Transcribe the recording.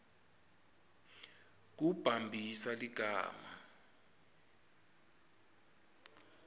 kumbambisa ligama